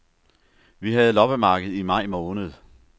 Vi havde loppemarked i maj måned.